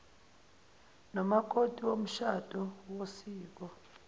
nomakoti womshado wosiko